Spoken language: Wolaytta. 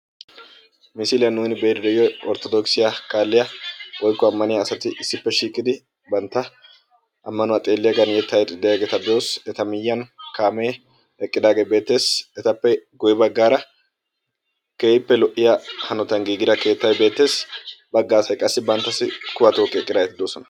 misiliyan nuuni be'iiddi diyoy orttodoogsiya kaalliya woyikko ammaniya asati issippe shiiqidi bantta ammanuwa xeelliyagen yettaa yexxiiddi diyageeta be'os. eta miyyiyan kaame eqqidaage beettes. etappe guyye baggaara keehippe lo'iya hanotan giigida keettay beettes. bagga asay qassi banttassi kuwaa tookki eqqidaageeti beettoosona.